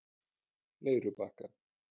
Leirubakka